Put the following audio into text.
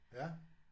Ja